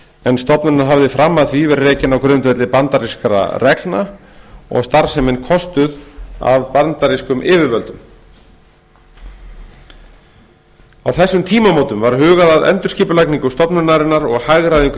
en stofnunin hafði fram að því verið rekin á grundvelli bandarískra reglna og starfsemin kostuð af bandarískum yfirvöldum á þessum tímamótum var hugað að endurskipulagningu stofnunarinnar og hagræðingu í